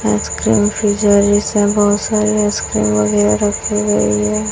Ice cream freezer जैसा है बहुत सारी आइसक्रीम वगैरा रखी हुई है।